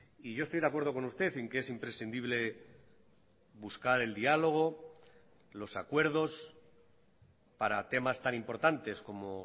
y yo estoy de acuerdo con usted en que es imprescindible buscar el diálogo los acuerdos para temas tan importantes como